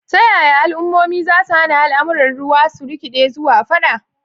Ta yaya al'ummomi za su hana al'amuran ruwa su rikide zuwa fada?